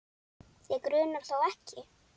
Þig grunar þó ekki?.